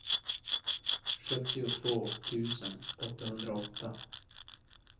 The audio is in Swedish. sjuttiotvå tusen åttahundraåtta